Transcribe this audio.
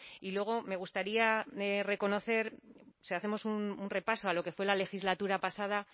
y luego me gustaría reconocer si hacemos un repaso a lo que fue la legislatura pasada